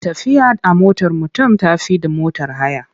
Tafiya a motar mutum ta fi da motar haya.